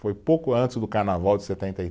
Foi pouco antes do carnaval de setenta e